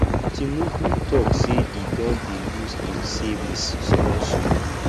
tinubu talk say he don dey use im savings small small